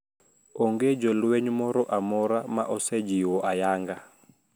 Onge jolweny moro amora ma osejiwo ayanga